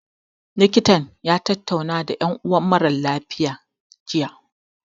Likitan ya tattauna da ƴan uwan mara lafiya, jiya.